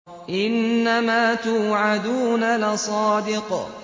إِنَّمَا تُوعَدُونَ لَصَادِقٌ